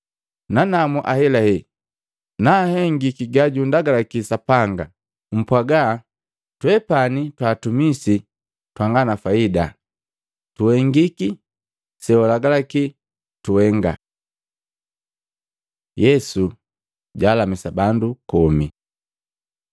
Nanamu ahelahela na nhengiti gajundagalaki Sapanga, mpwaga, ‘Twepani twa atumisi twanga na faida, tuhengiki sewalagalaki tuhenga.’ ” Yesu jaalamisa bandu komi